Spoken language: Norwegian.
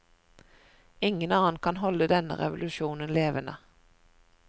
Ingen annen kan holde denne revolusjonen levende.